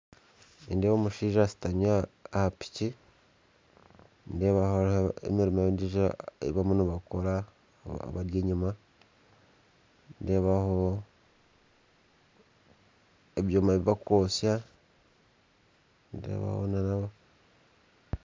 Nindeeba omushaija ashutami aha piki nindeeba hariho emirimo endiijo ei barimu nibakora abari enyuma nindeebaho ebyoma ebi barikwotsya, nindeebaho na